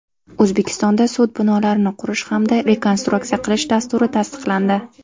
O‘zbekistonda sud binolarini qurish hamda rekonstruksiya qilish dasturi tasdiqlandi.